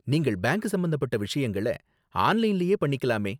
நீங்கள் பேங்க் சம்பந்தப்பட்ட விஷயங்கள ஆன்லைன்லயே பண்ணிக்கலாமே?